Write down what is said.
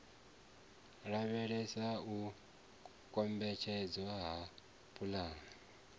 lavhelesa u kombetshedzwa ha pulani